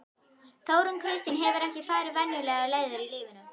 Þórunn Kristín hefur ekki farið venjulegar leiðir í lífinu.